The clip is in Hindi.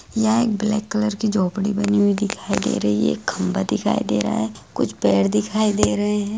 यहाँ एक ब्लैक कलर की झोपडी बनी हुई दिखाई दे रही है एक खंभा दिखाई दे रहा है कुछ पेड़ दिखाई दे रहे हैं।